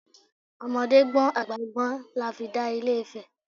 Ọmọdé gbọ́n, àgbà gbọ́n lafi dà ilé Ifẹ̀.